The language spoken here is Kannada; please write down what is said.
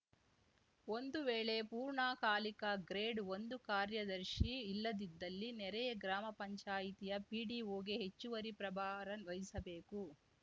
ಒಂದು ವೇಳೆ ಪೂರ್ಣಕಾಲಿಕ ಗ್ರೇಡ್‌ಒಂದು ಕಾರ್ಯದರ್ಶಿ ಇಲ್ಲದಿದ್ದಲ್ಲಿ ನೆರೆಯ ಗ್ರಾಮ ಪಂಚಾಯಿತಿಯ ಪಿಡಿಒಗೆ ಹೆಚ್ಚುವರಿ ಪ್ರಭಾರ ವಹಿಸಬೇಕು